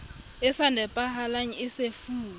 e sa nepahalang e sefuwe